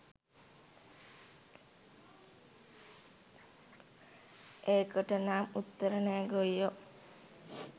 ඒකටනම් උත්තරේ නෑ ගොයියෝ